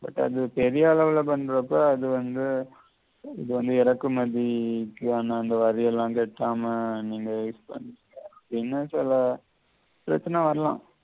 but அது பெரியளவிலா பண்றப்ப அது வந்து இறக்குமதி இருக்கு ஆனா அந்த வாரியெல்லாம் கட்டாம நீங்க இப்ப என்ன சொல்ல பிரச்சின வரலாம்